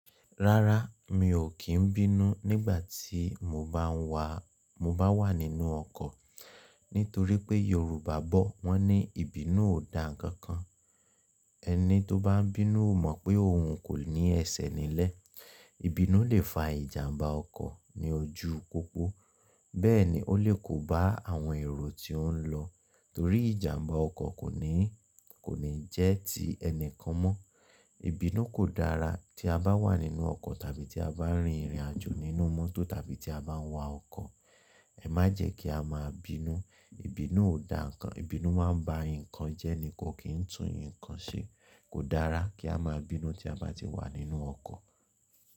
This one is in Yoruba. Rárá, mi ò kí ń bínú nígbà tí mo bá ń wà, mo bá wà nínú ọkọ̀. Nítorí pé Yorùbá bọ̀, wọ́n ní ìbínú ò da ǹnkan kan. Ẹni tó bá ń bínú ó mọ̀ pé òun kò ní ẹsẹ̀ nílẹ̀. Ìbínú le fa ìjàmbá ọkọ̀ ní ojú u pópó. Bẹ́ẹ̀ ni ó lè kó bá àwọn èrò tí ó ń lọ torí ìjàmbá ọkọ̀ kò ní, kò ní jẹ́ ti ẹni kan mọ́. Ìbínú kò dára tí a bá wà nínú ọkọ̀ tàbí tí a bá rin ìrìnàjò nínú mọ́tò tàbí tí a bá ń wa ọkọ̀. Ẹ má jẹ kí á máa bínú, ìbínú ò da ǹnkan, ìbínú máa ń ba ǹnkan jẹ́ ni kò kí ń tú ǹnkan ṣe. Kò dára kí á máa bínú tí a bá ti wà nínú ọkọ̀.